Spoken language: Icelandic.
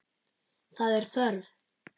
Það er þörf.